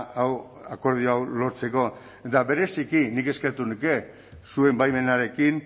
hau akordio hau lortzeko eta bereziki nik eskertuko nuke zuen baimenarekin